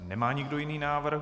Nemá nikdo jiný návrh.